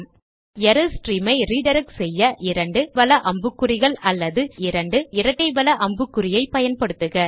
ஆனால் error stream ஐ redirect செய்ய 2 வல அம்புக்குறி அல்லது 2 இரட்டை வல அம்புக்குறியை பயன்படுத்துக